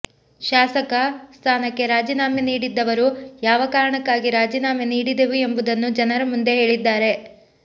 ಶಾಸಕ ಸ್ಥಾನಕ್ಕೆ ರಾಜೀನಾಮೆ ನೀಡಿದ್ದವರು ಯಾವ ಕಾರಣಕ್ಕಾಗಿ ರಾಜೀನಾಮೆ ನೀಡಿದೆವು ಎಂಬುದನ್ನು ಜನರ ಮುಂದೆ ಹೇಳಿದ್ದಾರೆ